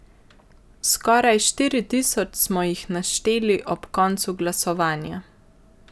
Skoraj štiri tisoč smo jih našteli ob koncu glasovanja.